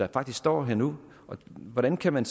faktisk står her nu hvordan kan man